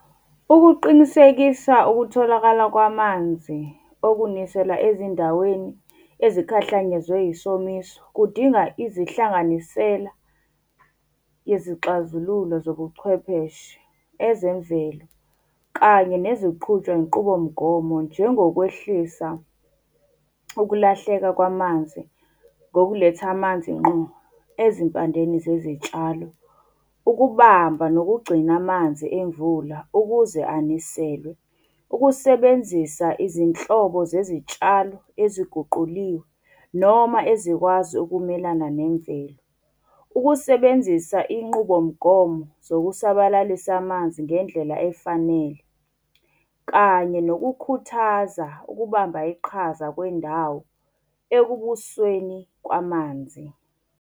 Ukuqinisekisa ukutholakala kwamanzi okunisela ezindaweni ezikhahlanyezwe isomiso, kudinga izihlanganisela yezixazululo zobuchwepheshe. Ezemvelo kanye neziqhutshwa inqubomgomo njengokwehlisa ukulahleka kwamanzi ngokuletha amanzi ngqo ezimpandeni zezitshalo. Ukubamba nokugcina amanzi emvula ukuze aniselwe. Ukusebenzisa izinhlobo zezitshalo eziguquliwe noma ezikwazi ukumelana nemvelo. Ukusebenzisa inqubomgomo zokusabalalisa amanzi ngendlela efanele. Kanye nokukhuthaza ukubamba iqhaza kwendawo ekubusweni kwamanzi.